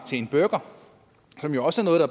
til en burger som jo også